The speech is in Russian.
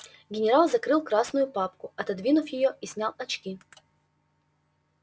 генерал закрыл красную папку отодвинув её и снял очки